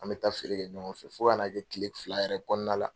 An bɛ taa feere kɛ ɲɔgɔn fɛ f ka n'a kɛ tile fila yɛrɛ kɔnɔna la.